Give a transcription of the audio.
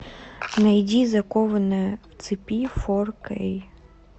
найди закованная в цепи фор кей